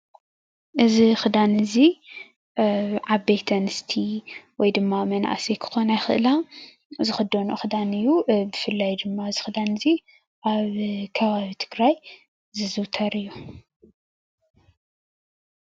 እዚ ክዳን እዚ ዓበይቲ ኣንስቲ ወይ ድማ መናእሰይ ክኮና ይክእላ ዝክደንኦ ክዳን እዩ፣ ብፍላይ ድማ እዚ ክዳን እዚ ኣብ ከባቢ ትግራት ዝዝውተር እዩ፡፡